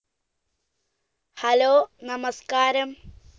hello നമസ്കാരം